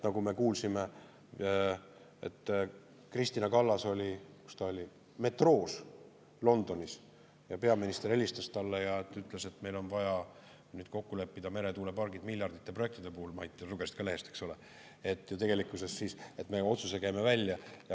Me kuulsime, et Kristina Kallas oli Londonis metroos, kui peaminister helistas talle ja ütles, et meil on vaja nüüd kokku leppida meretuuleparkide miljarditesse ulatuvate projektide üle – Mait, sa lugesid ka lehest, eks ole –, et tegelikkuses me käime otsuse välja.